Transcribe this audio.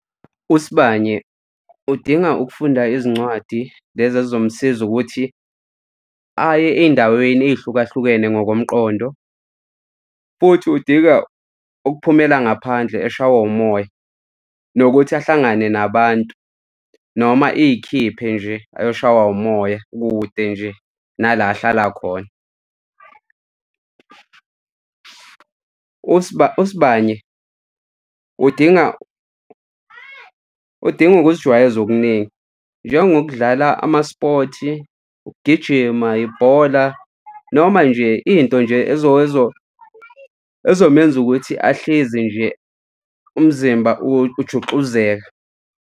USibanye, udinga ukufunda izincwadi lezi ezomsiza ukuthi aye ey'ndaweni ey'hlukahlukene ngokomqondo. Futhi udinga ukuphumela ngaphandle eshawe umoya, nokuthi ahlangane nabantu noma iyikhiphe nje uyoshawa umoya kude nje nala ahlala khona. USibanye, udinga, udinga ukuzijwayeza okuningi njengokudlala ama-sport-i, ukugijima, ibhola noma nje into nje ezomenza ukuthi ahlezi nje umzimba ujuxuzeka.